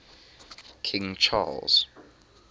king charles